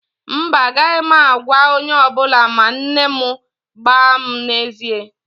Mba, agaghị m agwa onye ọ bụla ma nne m gbaa n'ezi